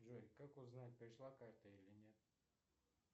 джой как узнать пришла карта или нет